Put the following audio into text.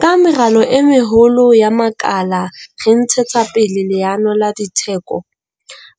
Ka meralo e meholo ya makala re ntshetsa pele leano la ditheko